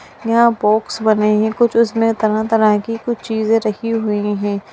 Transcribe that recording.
यहां बॉक्स बने हैं कुछ उसमें तरह-तरह की कुछ चीजे रखी हुई हैं।